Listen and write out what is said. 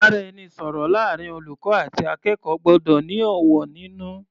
Ìbáraẹnisọ̀rọ̀ láàrin olùkọ́ àti akẹ́kọ̀ọ́ gbọ́dọ̀ ní ọ̀wọ̀ nínú.